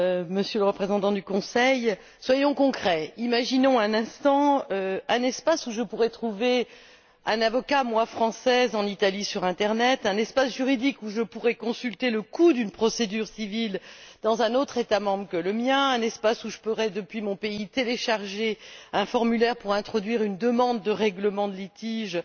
Monsieur le Représentant du Conseil, soyons concrets imaginons un espace où moi, Française, je pourrais trouver un avocat en Italie sur l'internet, un espace juridique où je pourrais, consulter le coût d'une procédure civile dans un autre État membre que le mien, un espace où je pourrais, depuis mon pays, télécharger un formulaire pour introduire une demande de règlement de litige avec